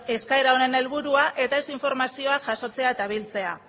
eskaera honen helburua eta ez informazioa jasotzea eta biltzea